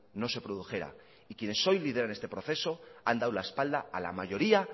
no se produjera y quienes hoy lideran este proceso han dado la espalda a la mayoría